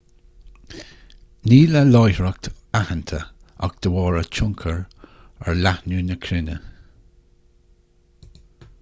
níl a láithreacht aitheanta ach de bharr a tionchar ar leathnú na cruinne